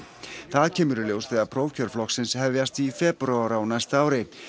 það kemur í ljós þegar prófkjör flokksins hefjast í febrúar á næsta ári